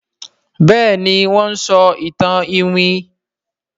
Béèni wón ń sọ ìtàn iwin.